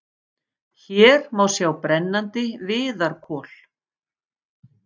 Hér má sjá brennandi viðarkol.